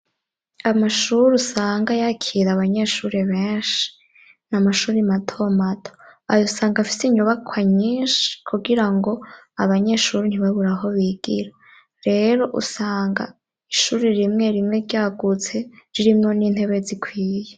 Amashure usanga yakira abanyeshure benshi ni amashure mato mato ayo usanga afise inyubakwa nyinshi kugira ngo abanyeshure ntibabure aho bigira, rero usanga ishure rimwe rimwe ryagutse ririmwo n'intebe zikwiye.